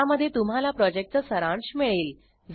ज्यामध्ये तुम्हाला प्रॉजेक्टचा सारांश मिळेल